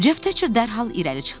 Cef Teçer dərhal irəli çıxdı.